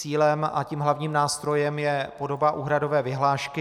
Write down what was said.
Cílem a tím hlavním nástrojem je podoba úhradové vyhlášky.